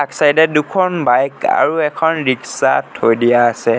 Side ত দুখন bike আৰু এখন ৰিক্সা থৈ দিয়া আছে।